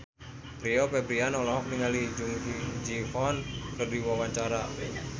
Rio Febrian olohok ningali Jung Ji Hoon keur diwawancara